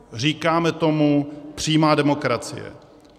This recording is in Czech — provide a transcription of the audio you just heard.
Říkáme tomu přímá demokracie.